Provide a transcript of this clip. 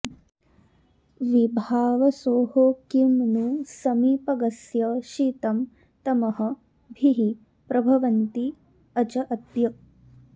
विभावसोः किं नु समीपगस्य शीतं तमः भीः प्रभवन्ति अज अद्य